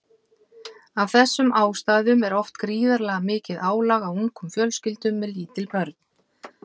Af þessum ástæðum er oft gríðarlega mikið álag á ungum fjölskyldum með lítil börn.